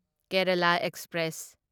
Kerala express